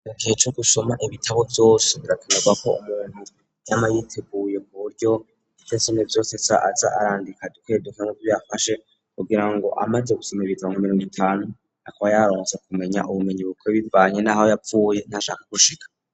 igihe co gusoma ibitabo vyose birakanezwa ko umuntu yama yiteguye ku buryo ivyasoma vyose aza arandika bike bike muvyo yafashe, kugira ngo amaze gusoma ibitabu mirongo itanu akaba yabasha kumenya ubumenyi bukwiye bivanye n'aho yavuye n'ahashaka gushika.